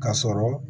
Ka sɔrɔ